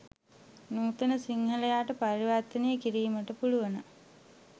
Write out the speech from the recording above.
නූතන සිංහලයාට පරිවර්තනය කිරීමට පුළුවන.